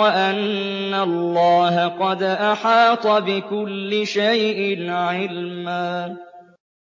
وَأَنَّ اللَّهَ قَدْ أَحَاطَ بِكُلِّ شَيْءٍ عِلْمًا